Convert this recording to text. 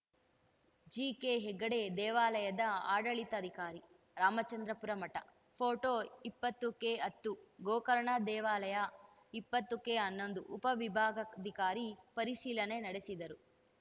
ಜಿಕೆಹೆಗಡೆ ದೇವಾಲಯದ ಆಡಳಿತಾಧಿಕಾರಿರಾಮಚಂದ್ರಾಪುರ ಮಠ ಫೋಟೋ ಇಪ್ಪತ್ತಕೆ ಹತ್ತು ಗೋಕರ್ಣ ದೇವಾಲಯ ಇಪ್ಪತ್ತಕೆ ಹನ್ನೊಂದು ಉಪ ವಿಭಾಗಾಧಿಕಾರಿ ಪರಿಶೀಲನೆ ನಡೆಸಿದರು